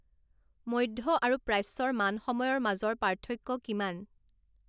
মধ্য আৰু প্ৰাচ্যৰ মান সময়ৰ মাজৰ পাৰ্থক্য কিমান